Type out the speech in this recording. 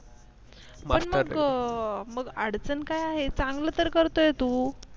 पण मग मग अडचण काय आहे चांगलं तर करतोय तू